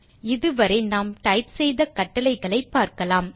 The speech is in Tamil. இது வரை நாம் டைப் செய்த கட்டளைகளை பார்க்கலாம்